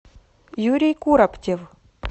юрий куроптев